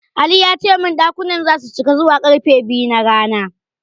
Ali ya ce min ɗakunan zasu cika zuwa ƙarfe biyu na rana.